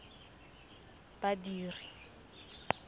badiri